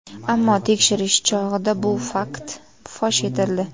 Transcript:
Ammo tekshirish chog‘ida bu fakt fosh etildi.